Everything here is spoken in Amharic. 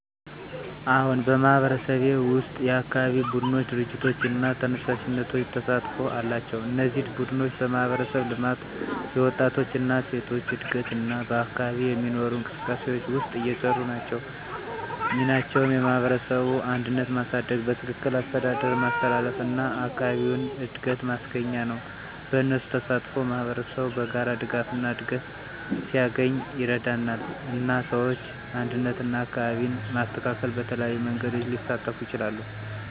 አዎን፣ በማህበረሰብዬ ውስጥ የአካባቢ ቡድኖች፣ ድርጅቶች እና ተነሳሽነቶች ተሳትፎ አላቸው። እነዚህ ቡድኖች በማህበረሰብ ልማት፣ የወጣቶች እና ሴቶች እድገት እና በአካባቢ የሚኖሩ እንቅስቃሴዎች ውስጥ እየሰሩ ናቸው። ሚናቸው የማህበረሰብን አንድነት ማሳደግ፣ በትክክል አስተዳደር ማስተላለፍ እና አካባቢውን እድገት ማስገኛ ነው። በእነሱ ተሳትፎ ማህበረሰቡ በጋራ ድጋፍና እድገት ሲያገኝ ይረዳል፣ እና ሰዎች አንድነትና አካባቢን ማስተካከል በተለያዩ መንገዶች ሊሳተፉ ይችላሉ።